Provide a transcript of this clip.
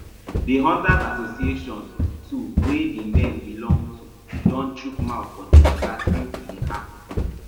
di hunters association too wey di men belong to don chook mouth for di mata since e happun